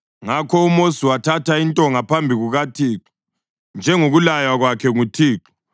Ngakho uMosi wathatha intonga phambi kukaThixo, njengokulaywa kwakhe nguThixo.